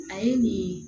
A ye nin